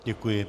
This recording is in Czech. Děkuji.